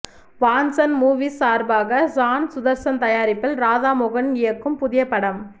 Vanson movies சார்பாக ஷான் சுதர்சன் தயாரிப்பில் ராதாமோகன் இயக்கும் புதிய படம்